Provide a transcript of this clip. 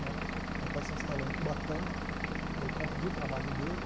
Né meu pai se instalou em Cubatão por conta do trabalho dele.